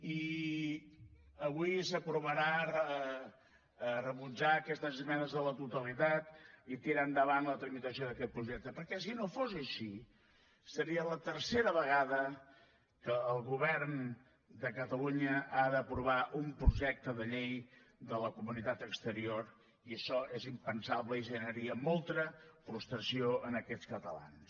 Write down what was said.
i avui s’aprovarà rebutjar aquestes esmenes a la totalitat i tirar endavant la tramitació d’aquest projecte perquè si no fos així seria la tercera vegada que el govern de catalunya ha d’aprovar un projecte de llei de la comunitat exterior i això és impensable i generaria molta frustració en aquests catalans